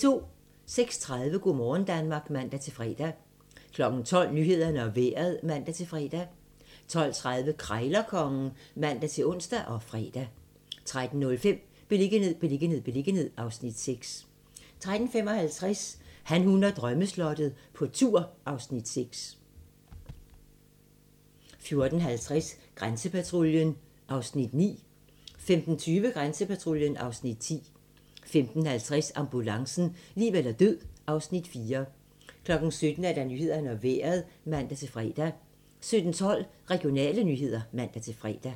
06:30: Go' morgen Danmark (man-fre) 12:00: Nyhederne og Vejret (man-fre) 12:30: Krejlerkongen (man-ons og fre) 13:05: Beliggenhed, beliggenhed, beliggenhed (Afs. 6) 13:55: Han, hun og drømmeslottet - på tur (Afs. 6) 14:50: Grænsepatruljen (Afs. 9) 15:20: Grænsepatruljen (Afs. 10) 15:50: Ambulancen - liv eller død (Afs. 4) 17:00: Nyhederne og Vejret (man-fre) 17:12: Regionale nyheder (man-fre)